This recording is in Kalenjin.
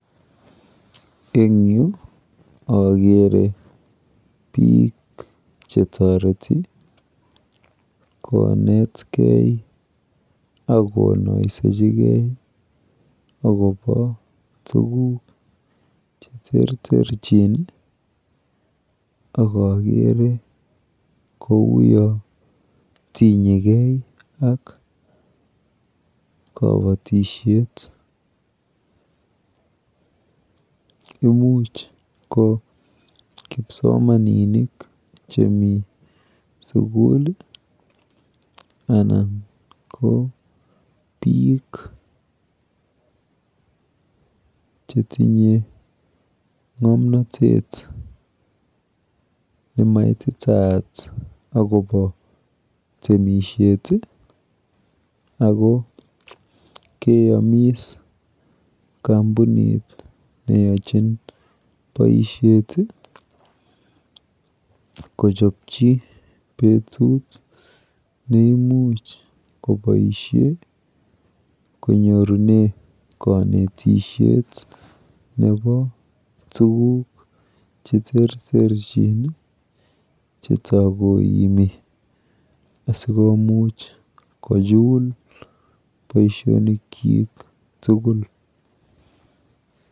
Eng yu akere biik chetoreti konetgei akonoisechigei akopo tuguk cheterterchin akakere kouyo tinyegei ak kabatishet. Imuch ko kipsomaninik chemi sukul anan ko biik chetinye ng'omnotet nemaititaat akopo temishet ako keyomis kampunit neyochin boishet kochopchi betut neimuch koboishe konyorune kanetishet nepo tuguk cheterterchin chetakoimi asikomuch kochul boishonikchik tugul,